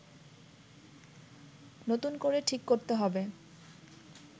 নতুন করে ঠিক করতে হবে